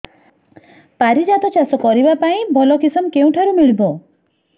ପାରିଜାତ ଚାଷ କରିବା ପାଇଁ ଭଲ କିଶମ କେଉଁଠାରୁ ମିଳିବ